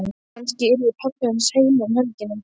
Kannski yrði pabbi hans heima um helgina.